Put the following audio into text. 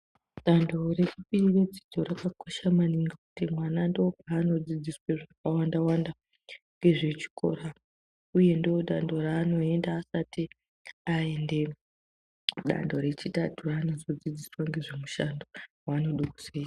Dando rechipiri redzidzo rakakosha maningi ngekuti mwana ndopaanodzidziswa zvakawanda wanda nezvechikora uye ndodando raanoenda asati aende kudando rechitatu raanozodzidziswa nezvemishando waanodo kuzoita.